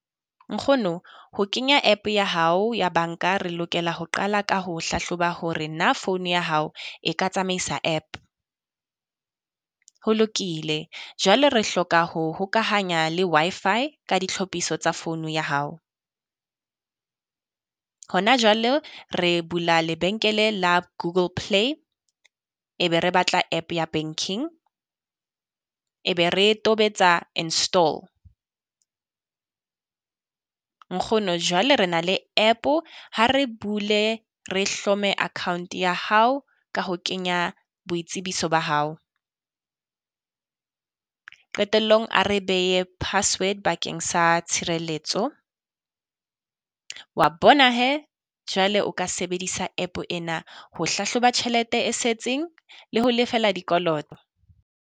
Nkgono, ho kenya app ya hao ya banka re lokela ho qala ka ho hlahloba hore na phone ya hao e ka tsamaisa app. Ho lokile, jwale re hloka ho hokahanya le Wi-Fi ka ditlhophiso tsa phone ya hao. Hona jwalo re bula lebenkele la Google Play, e be re batla app ya banking, e be re tobetsa install. Nkgono Jwale re na le app-o, ha re bule re hlome account ya hao ka ho kenya boitsebiso ba hao. Qetellong a re behe password bakeng sa tshireletso, wa bona hee jwale o ka sebedisa app ena ho hlahloba tjhelete e setseng le ho lefela dikoloto.